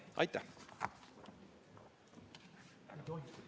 Aitäh!